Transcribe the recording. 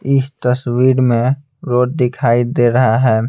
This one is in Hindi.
इस तस्वीर में रोड दिखाई दे रहा है.